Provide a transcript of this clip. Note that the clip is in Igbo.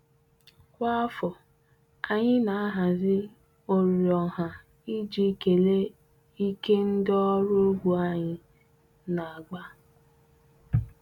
Kwa afọ, anyị na-ahazi oriri ọha iji kelee ike ndị ọrụ ugbo anyị na-agba.